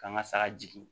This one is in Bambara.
K'an ka saga jigin